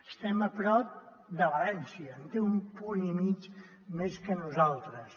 estem a prop de valència en té un punt i mig més que nosaltres